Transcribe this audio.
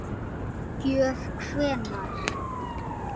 Gjöf hvenær?